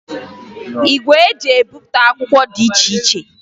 Igwe eji ebipụta akwụkwọ dị iche iche